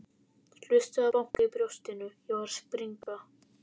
Hlustaði á bankið í brjóstinu, ég var að springa.